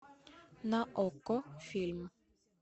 на окко фильм